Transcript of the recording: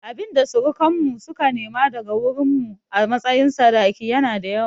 Abinda surukan mu suka nema daga wurin mu a matsayin sadaki yana da yawa